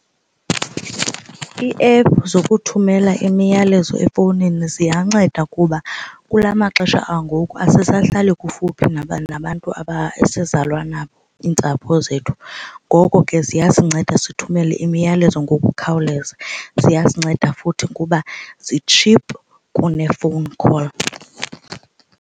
Ii-app zokuthumela imiyalezo efowunini ziyanceda kuba kula maxesha angoku asisahlali kufuphi nabantu esizalwa nabo iintsapho zethu. Ngoko ke ziyasinceda sithumele imiyalezo ngokukhawuleza. Ziyasinceda futhi kuba zitshiphu kune phone call.